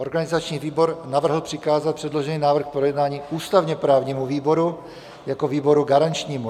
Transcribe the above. Organizační výbor navrhl přikázat předložený návrh k projednání ústavně-právnímu výboru jako výboru garančnímu.